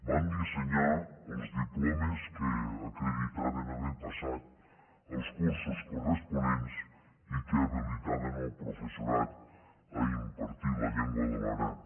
vam dissenyar els diplomes que acreditaven haver passat els cursos corresponents i que habilitaven el professorat a impartir la llengua de l’aran